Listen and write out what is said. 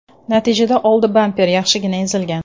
Natijada old bamper yaxshigina ezilgan.